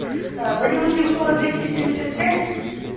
вадим васюкова двести семьдесят пять